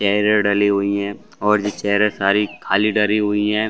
Chair डली हुई है और ये चेयर सारी खाली डली हुई है।